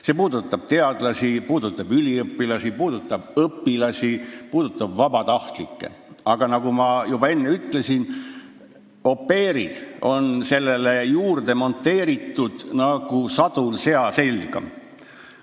See puudutab teadlasi, üliõpilasi, õpilasi ja vabatahtlikke, aga nagu ma juba enne ütlesin, on au pair'id sinna juurde monteeritud nagu sadul sea selga.